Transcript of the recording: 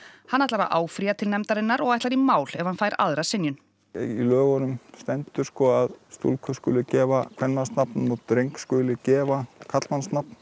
hann ætlar að áfrýja til nefndarinnar og ætlar í mál ef hann fær aðra synjun í lögunum stendur að stúlku skuli gefa kvenmannsnafn og dreng skuli gefa karlmannsnafn